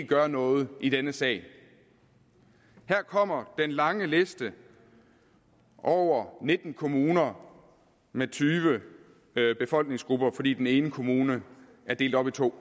gør noget i denne sag her kommer den lange liste over nitten kommuner med tyve befolkningsgrupper fordi den ene kommune er delt op i to